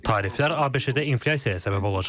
Tariflər ABŞ-də inflyasiyaya səbəb olacaq.